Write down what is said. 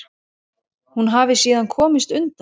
Hún hafi síðan komist undan.